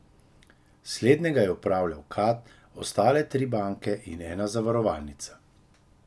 Slednjega je upravljal Kad, ostale pa tri banke in ena zavarovalnica.